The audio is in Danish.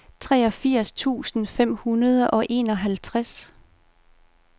treogfirs tusind fem hundrede og enoghalvtreds